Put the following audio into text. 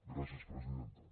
gràcies presidenta